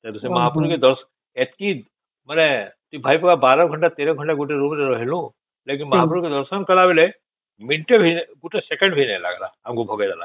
ସେ ମହାପୁର କେ ଦଶ ଏତିକି ମାନେ ତୁ ଭାବିବୁ ୧୨ ଘଣ୍ଟା ୧୩ ଘଣ୍ଟା ଗୋଟେ ରୁମ ରେ ରହିଲୁ ଯେମିତି ମହାପୁର କେ ଦର୍ଶନ କରିଲା ବେଳେ ମିନିଟ ଟେ ନାଇଁ ଗୋଟେ ସେକେଣ୍ଡ ରେ ଆମକୁ ଭଗେଇ ଦେଲା